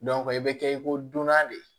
i bɛ kɛ i ko dunna de